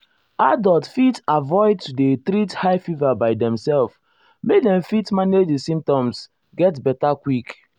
adults fit avoid to um dey treat high fever by demself make dem fit um manage di symptoms get beta quick.